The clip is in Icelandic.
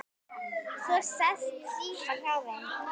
Svo sest Símon hjá þeim